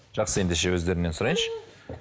жақсы ендеше өздерінен сұрайыншы